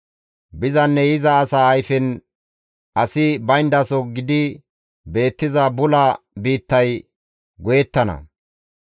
Bizanne yiza asa ayfen asi bayndaso gidi beettiza bula biittay goyettana.